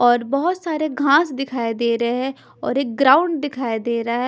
और बहोत सारे घास दिखाई दे रहे हैं और एक ग्राउंड दिखाई दे रहा है।